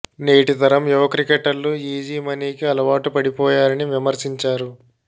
నేటితరం యువ క్రికెటర్ లు easy money కి అలవాటు పడిపోయారని విమర్శించారు